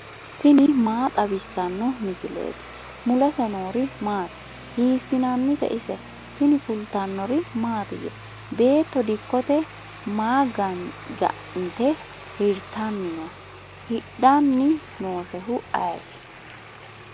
tini maa xawissanno misileeti ? mulese noori maati ? hiissinannite ise ? tini kultannori mattiya? beetto dikkotte ma ga'nitte hirittanni noo? hidhanni noosehu ayiitti?